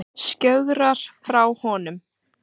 Skjögrar frá honum.